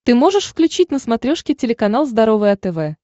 ты можешь включить на смотрешке телеканал здоровое тв